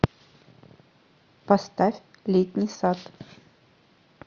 поставь летний сад